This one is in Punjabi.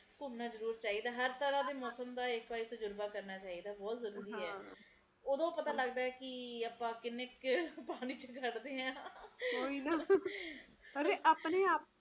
ਘੁੰਮਣਾ ਜਰੁਰ ਚਾਹੀਦਾ ਹਰ ਤਰਾਂ ਦੇ ਮੌਸਮ ਦਾ ਤਜਰਬਾ ਜਰੁਰ ਕਰਨਾ ਬਹੁਤ ਜ਼ਰੁਰੀ ਐ ਓਦੋ ਪਤਾ ਲੱਗਦਾ ਕੇ ਆਪਾ ਕਿੰਨੇ ਕ ਪਾਣੀ ਵਿਚ ਖੜਦੇ ਆ ਅਰੇ ਆਪਣੇ